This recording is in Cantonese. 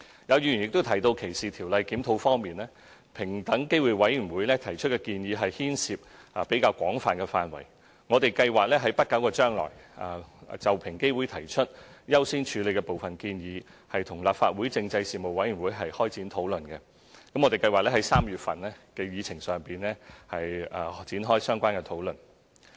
有議員亦提到歧視條例的檢討，平等機會委員會提出的建議牽涉範圍廣泛，我們計劃在不久將來就平機會提出優先處理的部分建議，與立法會政制事務委員會開展討論，我們計劃在3月份的議程上提出展開相關討論。